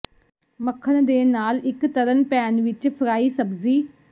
ਮੱਖਣ ਦੇ ਨਾਲ ਇੱਕ ਤਲਣ ਪੈਨ ਵਿੱਚ ਫਰਾਈ ਸਬਜ਼ੀ